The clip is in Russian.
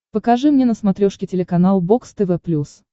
покажи мне на смотрешке телеканал бокс тв плюс